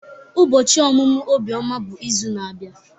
Ubochi omumu Obioma bụ izu na-abia.